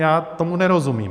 Já tomu nerozumím.